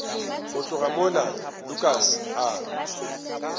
go tloga mola lukas a